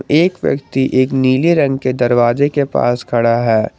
एक व्यक्ति एक नीले रंग के दरवाजे के पास खड़ा है।